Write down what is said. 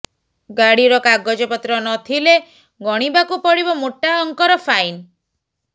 ଗାଡ଼ିର କାଗଜପତ୍ର ନ ଥିଲେ ଗଣିବାକୁ ପଡ଼ିବ ମୋଟା ଅଙ୍କର ଫାଇନ୍